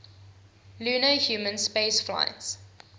lunar human spaceflights